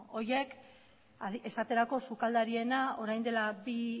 beno horiek esaterako sukaldariena orain dela bi